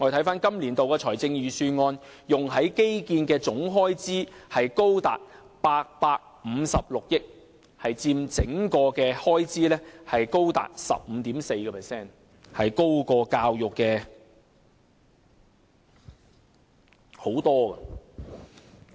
本年度預算案用在基建的總開支達856億元，高佔整體開支 15.4%， 比教育的開支高出很多。